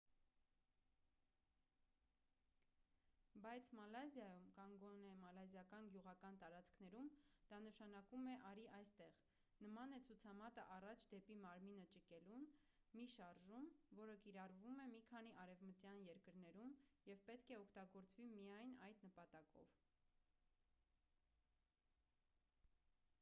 բայց մալազիայում կամ գոնե մալազիական գյուղական տարածքներում դա նշանակում է արի այստեղ նման է ցուցամատը առաջ դեպի մարմինը ճկելուն մի շարժում որը կիրառվում է մի քանի արևմտյան երկրներում և պետք է օգտագործվի միայն այդ նպատակով